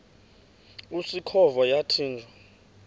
usikhova yathinjw a